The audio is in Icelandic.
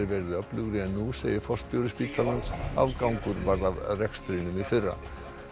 verið öflugri en nú segir forstjóri spítalans afgangur varð af rekstrinum í fyrra